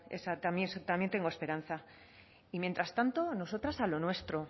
también tengo esperanza y mientras tanto nosotras a lo nuestro